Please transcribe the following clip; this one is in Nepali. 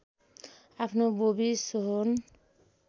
आफ्नो बोबी सोहोन